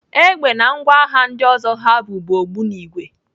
Egbe na ngwa agha ndị ọzọ ha bu bụ ogbunigwe.